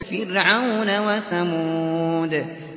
فِرْعَوْنَ وَثَمُودَ